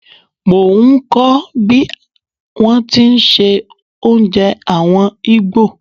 Mo ń kọ̀ bí wón ti ń se oúnjẹ àwọn Ìgbò.